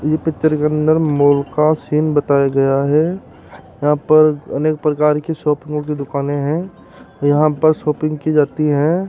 ये पिक्चर के अंदर माल का सीन बताया गया है यहां पर अनेक प्रकार की शॉपिंगो की दुकानें हैं यहां पर शॉपिंग की जाती हैं।